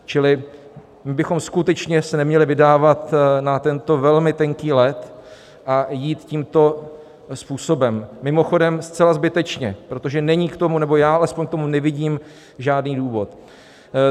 Čili my bychom skutečně se neměli vydávat na tento velmi tenký led a jít tímto způsobem, mimochodem zcela zbytečně, protože není k tomu - nebo já alespoň k tomu nevidím - žádný důvod.